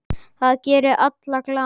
Það gerir alla glaða.